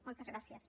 moltes gràcies